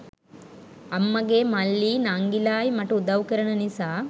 අම්මාගේ මල්ලියි නංගිලායි මට උදවු කරන නිසා